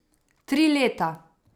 Tri leta?